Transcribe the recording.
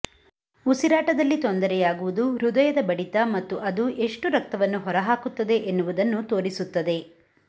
ಉಸಿರಾಟದಲ್ಲಿ ತೊಂದರೆಯಾಗುವುದು ಹೃದಯದ ಬಡಿತ ಮತ್ತು ಅದು ಎಷ್ಟು ರಕ್ತವನ್ನು ಹೊರಹಾಕುತ್ತದೆ ಎನ್ನುವುದನ್ನು ತೋರಿಸುತ್ತದೆ